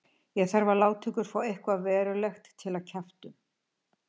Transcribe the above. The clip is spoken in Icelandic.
Það þarf að láta ykkur fá eitthvað verulegt til að kjafta um.